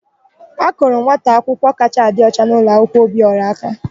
A kụrụ nwata akwụkwọ kachaa adị ọcha n'ụlọakwụkwọ Obiọra aka.